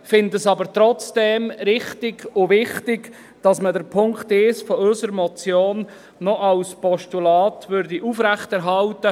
Wir finden es aber trotzdem richtig und wichtig, dass man den Punkt 1 unserer Motion als Postulat aufrechterhält.